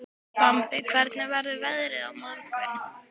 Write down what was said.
Bambi, hvernig verður veðrið á morgun?